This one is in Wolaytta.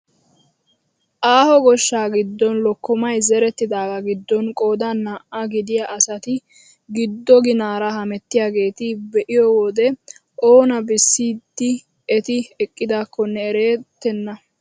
Aaho gooshshaa giddon lokkomaay zerettidaaga giidon qoodan naa"aa gidiyaa asati giddo ginaara hemettiyaageta be'iyoo wode oona bessiidi eti eqqidaakonne erettena!